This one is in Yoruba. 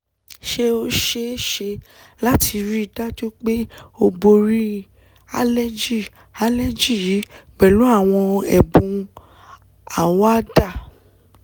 Ṣé o ṣee ṣe lati rii daju pe o bori aleji aleji yi pẹlu àwọn ẹ̀bùn àwàdá?